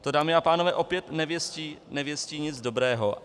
To, dámy a pánové, opět nevěstí nic dobrého.